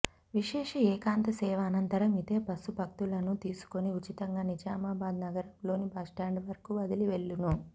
విశేష ఏకాంత సేవ అనంతరం ఇదే బస్సు భక్తులను తీసుకుని ఉచితంగా నిజామాబాద్ నగరంలోని బస్టాండ్ వరకు వదిలి వెళ్ళును